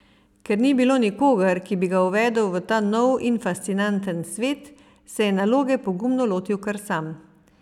Ker ni bilo nikogar, ki bi ga uvedel v ta nov in fascinanten svet, se je naloge pogumno lotil kar sam.